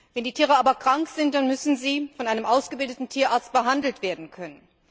Wenn die Tiere aber krank sind, dann müssen sie von einem ausgebildeten Tierarzt behandelt werden können.